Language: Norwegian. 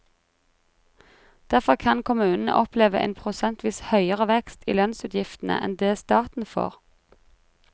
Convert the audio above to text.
Derfor kan kommunene oppleve en prosentvis høyere vekst i lønnsutgiftene enn det staten får.